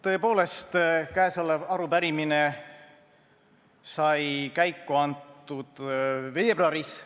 Tõepoolest, käesolev arupärimine sai käiku antud veebruaris.